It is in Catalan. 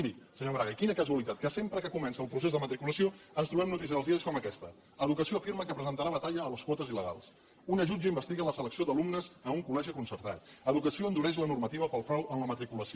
miri senyor maragall quina casualitat que sempre que comença el procés de matriculació ens trobem notícies als diaris com aquestes educació afirma que presentarà batalla a les quotes il·legals una jutge investiga la selecció d’alumnes en un col·legi concertat educació endureix la normativa pel frau en la matriculació